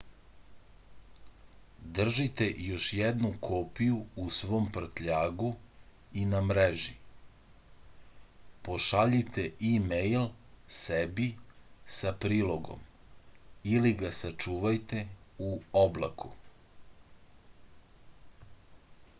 држите још једну копију у свом пртљагу и на мрежи пошаљите имејл себи са прилогом или га сачувајте у облаку